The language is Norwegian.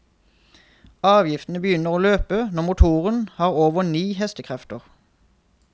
Avgiften begynner å løpe når motoren har over ni hestekrefter.